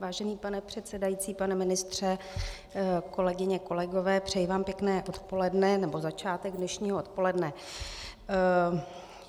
Vážený pane předsedající, pane ministře, kolegyně, kolegové, přeji vám pěkné odpoledne nebo začátek dnešního odpoledne.